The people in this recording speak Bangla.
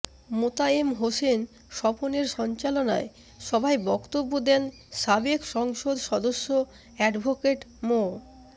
মোতায়েম হোসেন স্বপনের সঞ্চালনায় সভায় বক্তব্য দেন সাবেক সংসদ সদস্য অ্যাডভোকেট মো